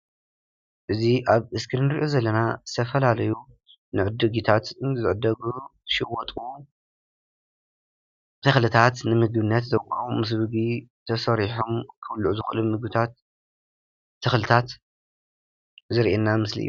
እዚ ኣብ እስክሪን ንሪኦ ዘለና ዝተፈላለዩ ንዕድጊታት፣ ንዝዕደጉ፣ ዝሽወጡ ተኽልታት ንምግብነት ዘቋቑሙ ምስ ምግቢ ተሰሪሖም ክብልዑ ዝኽእሉ ምግብታት ፣ ተኽልታት ዘሪኤና ምስሊ እዩ፡፡